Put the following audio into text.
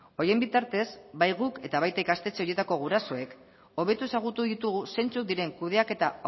horien bitartez bai guk eta baita ikastetxe horietako gurasoek hobeto ezagutu ditugu zeintzuk diren kudeaketa